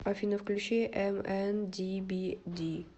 афина включи эмэндибиди